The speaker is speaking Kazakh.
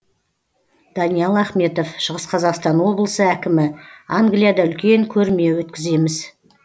даниал ахметов шығыс қазақстан облысы әкімі англияда үлкен көрме өткіземіз